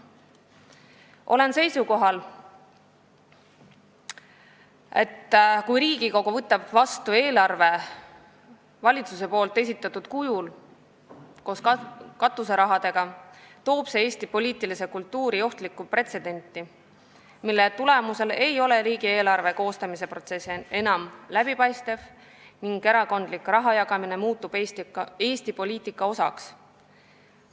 Olen seisukohal, et kui Riigikogu võtab vastu eelarve, mis hõlmab ka valitsuse esitatud kujul katuseraha, siis loob see Eesti poliitilises kultuuris ohtliku pretsedendi, mille tagajärjel ei ole riigieelarve koostamise protsess enam läbipaistev ning erakondliku raha jagamine muutub Eesti poliitika osaks.